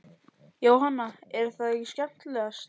Jóhanna: Er það skemmtilegast?